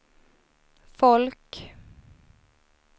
folk